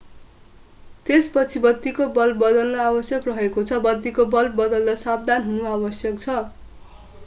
त्यसपछि बत्तीको बल्ब बदल्न आवश्यक रहेको छ बत्तीको बल्ब बदल्दा सावधान हुनु आवश्यक छ